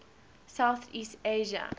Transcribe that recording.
south east asia